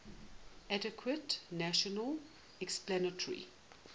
adequate natural explanatory